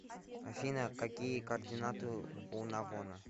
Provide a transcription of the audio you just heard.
афина какие координаты у навона